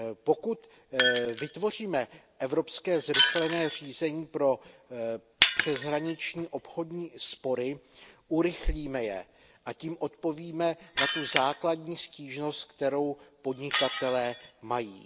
Pokud vytvoříme evropské zrychlené řízení pro přeshraniční obchodní spory, urychlíme je a tím odpovíme na tu základní stížnost, kterou podnikatelé mají.